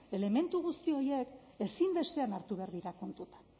elementu guzti horiek ezinbestean hartu behar dira kontuan